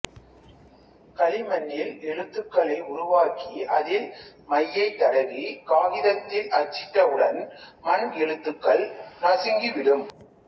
களிமண்ணில் எழுத்துக்களை உருவாக்கி அதில் மையை தடவி காகிதத்தில் அச்சிட்டவுடன் மண் எழுத்துக்கள் நசுங்கிவிடும்